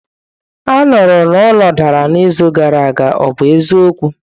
Anụrụ na ụlọ dara n'izu gara aga, ọ bụ eziokwu?